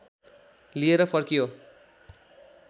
लिएर फर्कियो